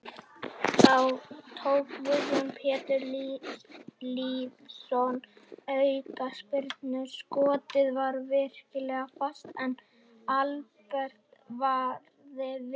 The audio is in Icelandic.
Þá tók Guðjón Pétur Lýðsson aukaspyrnu, skotið var virkilega fast en Albert varði vel.